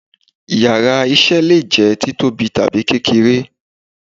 íyarà iṣẹ le je títóbí tabi kékeré